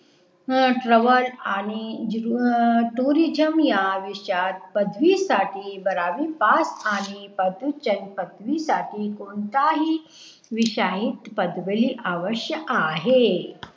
हं TRAVEL आणि TOURISM या विषयात पदवी साठी बारावी पास आणि पदवी साठी कोणताही विषयात पदवी आवश्य आहे